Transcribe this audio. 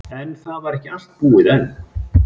En það var ekki allt búið enn.